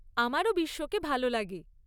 আমারও বিশ্বকে ভাল লাগে।